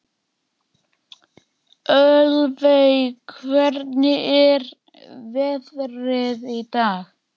Ölveig, hvernig er veðrið í dag?